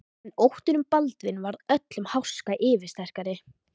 En óttinn um Baldvin varð öllum háska yfirsterkari.